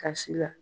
Kasi la